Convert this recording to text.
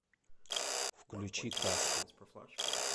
включи касту